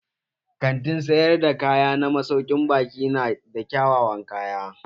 Kantin sayar da kaya na masaukin baƙi na da kyawawan kaya.